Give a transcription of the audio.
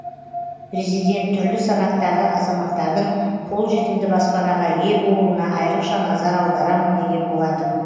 президент түрлі санаттағы азаматтардың қолжетімді баспанаға ие болуына айрықша назар аударамын деген болатын